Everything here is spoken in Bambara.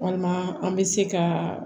Walima an bɛ se ka